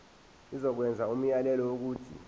izokwenza umyalelo wokuthi